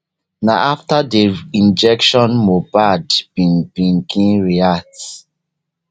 na afta di injection mohbad bin begin react